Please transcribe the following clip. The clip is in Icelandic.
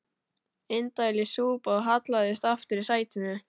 Indælis súpa og hallaðist aftur í sætinu.